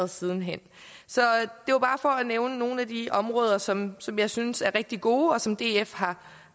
sidenhen det var bare for at nævne nogle af de områder som som jeg synes er rigtig gode og som df har